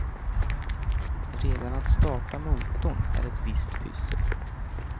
Redan att starta motorn är ett visst pyssel.